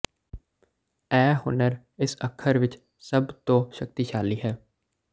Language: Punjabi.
ਇਹ ਹੁਨਰ ਇਸ ਅੱਖਰ ਵਿਚ ਸਭ ਤੋਂ ਸ਼ਕਤੀਸ਼ਾਲੀ ਹੈ